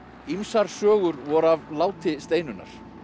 ýmsar sögur voru af láti Steinunnar